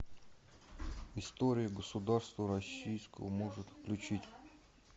история государства российского может включить